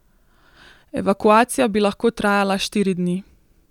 Evakuacija bi lahko trajala štiri dni.